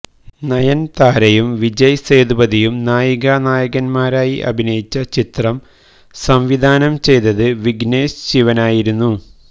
നയന്താരയും വിജയ് സേതുപതിയും നായികാ നായകന്മാരായി അഭിനയിച്ച ചിത്രം സംവിധാനം ചെയ്തത് വിഘ്നേശ്് ശിവനായിരുന്നു